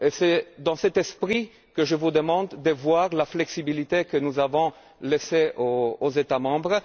C'est dans cet esprit que je vous demande d'envisager la flexibilité que nous avons laissée aux États membres.